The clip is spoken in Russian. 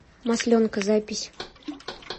масленка запись